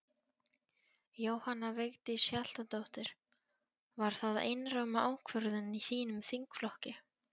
Jóhanna Vigdís Hjaltadóttir: Var það einróma ákvörðun í þínum þingflokki?